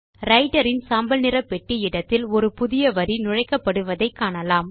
writer இன் சாம்பல் நிற பெட்டி இடத்தில் ஒரு புதிய வரி நுழைக்கப்படுவதை காணலாம்